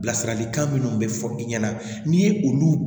Bilasiralikan minnu bɛ fɔ i ɲɛna n'i ye olu